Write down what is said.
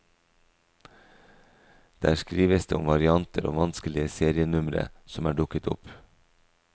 Der skrives det om varianter og vanskelige serienumre som er dukket opp.